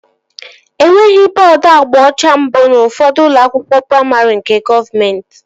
Enweghị bọọdu agba ọcha mbụ n'ufodu ụlọ akwụkwọ praimarị nke gọọmenti